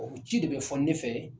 ci de bɛ fɔ ne fɛ